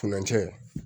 Furancɛ